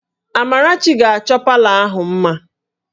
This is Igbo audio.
Amarachi ga-achọ palọ ahụ mma